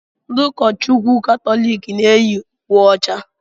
Ndị ụka Chukwu Katọlik na eyi uwe ọcha.